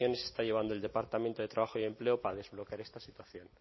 acciones está llevando el departamento de trabajo y empleo para desbloquear esta situación